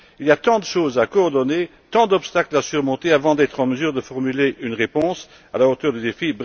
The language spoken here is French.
Il y a tant de choses à coordonner, tant d'obstacles à surmonter avant d'être en mesure de formuler une réponse à la hauteur du défi.